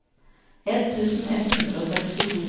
ett tusen ett hundre og sekstito